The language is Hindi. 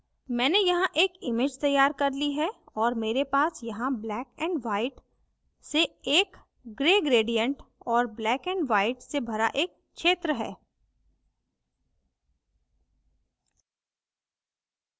मैंने यहाँ एक image तैयार कर ली है और मेरे पास यहाँ black and white से एक gray gradient और black and white से भरा एक क्षेत्र है